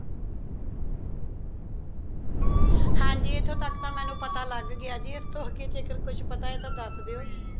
ਹਾਂ ਜੀ ਇੱਥੋਂ ਤੱਕ ਤਾਂ ਮੈਨੂੰ ਪਤਾ ਲੱਗ ਗਿਆ ਜੀ ਇਸਤੋਂ ਅੱਗੇ ਜੇਕਰ ਕੁਝ ਪਤਾ ਹੈ ਤਾਂ ਦੱਸ ਦਿਓ